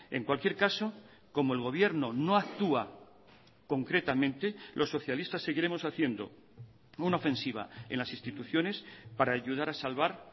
en cualquier caso como el gobierno no actúa concretamente los socialistas seguiremos haciendo una ofensiva en las instituciones para ayudar a salvar